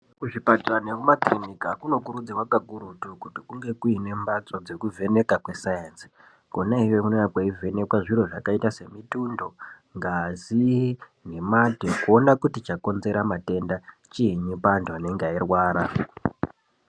Kuzvipatara nekumakiriniki kunofanirwa kunge kuine ndau dzekuvhenekwa kweSainzi Konayo kunenge kweivhenekwa mutundo ngaz nemate kuona kuti chakonzera madenda chiinyi pamuntu anonga eirwara.